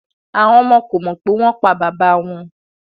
Awọn ọmọ ko mọ pe won pa baba won